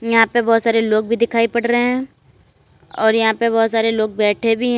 यहां पे बहोत सारे लोग भी दिखाई पड रहे हैं और यहां पे बहुत सारे लोग बैठे भी --